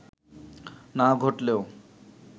না ঘটলেও